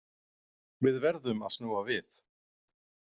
Við verðum að snúa við.